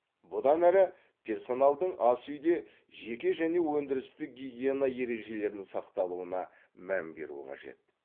бұдан әрі персоналдың ас үйде жеке және өндірістік гигиена ережелерін сақталуына мән беру қажет